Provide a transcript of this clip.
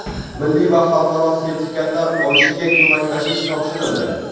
milliy va xalqaro sertifikatlar olishiga ko‘maklashish topshirildi.